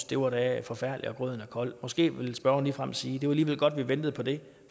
det var da forfærdeligt og grøden er kold måske vil spørgeren ligefrem sige det var alligevel godt vi ventede på det